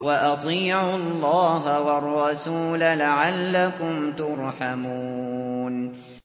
وَأَطِيعُوا اللَّهَ وَالرَّسُولَ لَعَلَّكُمْ تُرْحَمُونَ